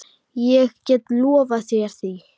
Ég get lofað þér því.